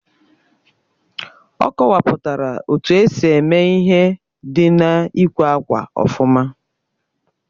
Ọ kọwapụtara etu esi eme ihe dị na-ịkwè ákwà ofuma